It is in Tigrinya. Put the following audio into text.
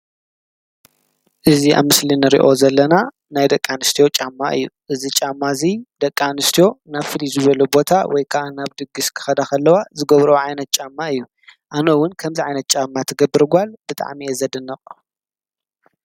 እዚ ኣብ ምስሊ እንርእዮ ዘለና ናይ ደቂ ኣንስትዮ ጫማ እዩ። እዚ ጫማ እዚ ደቂ ኣንስትዮ ናብ ፍልይ ዝበሉ ቦታ ወይከዓ ናብ ድግስ ክከዳ ከለዋ ዝገብረኦ ዓይነት ጫማ እዩ። ኣነ ዉን ከምዚ ዓይነት ጫማ ትገብር ጓል ብጣዕሚ እየ ዘድንቅ።